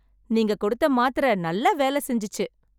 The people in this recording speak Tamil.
நீங்க கொடுத்த மாத்திரை நல்லா வேலை செஞ்சுச்சு